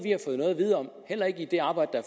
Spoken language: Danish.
at vide om heller ikke i det arbejde